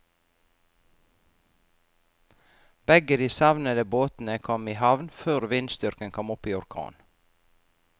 Begge de savnede båtene kom i havn før vindstyrken kom opp i orkan.